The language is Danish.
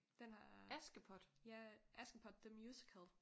Den har ja Askepot the musical